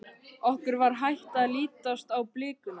Okkur var hætt að lítast á blikuna.